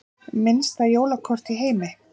Minnsta jólakort í heimi